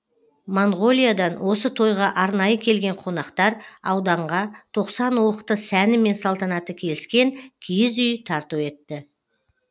моңғолиядан осы тойға арнайы келген қонақтар ауданға тоқсан уықты сәні мен салтанаты келіскен киіз үй тарту етті